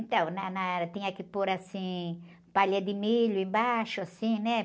Então, na, na, era, tinha que pôr, assim, palha de milho embaixo, assim, né?